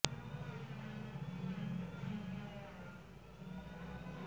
কেন উচ্চ বিদ্যালয় একটি পঞ্চম বছর আপনার জন্য সঠিক হতে পারে